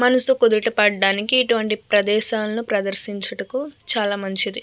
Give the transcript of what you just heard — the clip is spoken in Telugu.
మనస్సు కుదుట పడడానికి ఇటు వంటి ప్రదేశాలను ప్రదర్చించుటకు చాలా మంచిది.